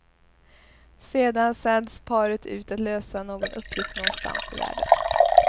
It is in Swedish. Sedan sänds paret ut att lösa någon uppgift någonstans i världen.